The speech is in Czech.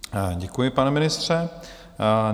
Děkuji, pane ministře.